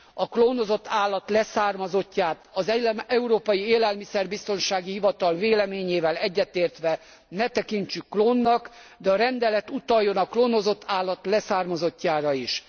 A klónozott állat leszármazottját az Európai Élelmiszerbiztonsági Hivatal véleményével egyetértve ne tekintsük klónnak, de a rendelet utaljon a klónozott állat leszármazottjára is.